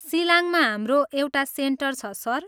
सिलाङमा हाम्रो एउटा सेन्टर छ, सर।